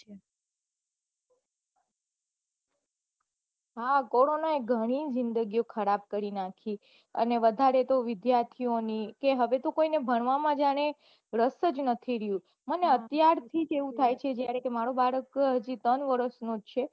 હા કોરોના એ ઘણી જિંદગી ખરાબ કરી નાખી અને વઘારે તો વિઘાર્થી ઓ ની હવે તો કોઈને ભણવા માં જાણે રસ જ નથી રહ્યો મને અત્યારથીજ એવું થાય છે મારો બાળક ત્રણ વર્ષ નો છે